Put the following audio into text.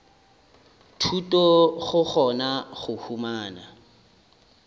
thuto go kgona go humana